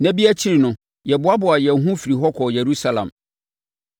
Nna bi akyi no, yɛboaboaa yɛn ho firii hɔ kɔɔ Yerusalem.